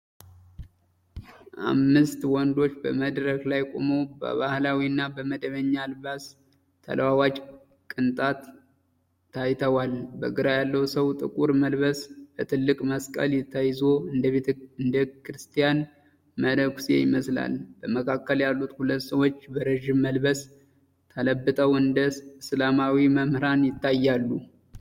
አምስት ወንዶች በመድረክ ላይ ቆመው በባህላዊ እና በመደበኛ አልባስ ተለዋዋጭ ቅንጣት ታይተዋል። በግራ ያለው ሰው ጥቁር መልበስ በትልቅ መስቀል ተይዞ እንደ ክርስቲያን መነኩሴ ይመስላል። በመካከል ያሉት ሁለት ሰዎች በረዥም መልበስ ተለብጠው እንደ እስላማዊ መምህራን ይታያሉ።